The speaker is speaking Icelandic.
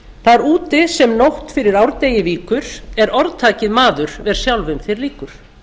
þar úti sem nótt fyrir árdegi víkur er orðtakið maður ver sjálfum þér líkur